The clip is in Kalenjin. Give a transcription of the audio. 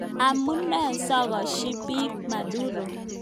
Amune sikoeshoi bik Maduro?